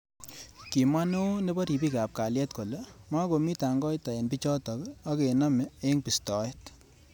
Kimwa neo nebo robik ab kaliet kole makomi tangoita eng bichotok.ak kenamei eng bistoet.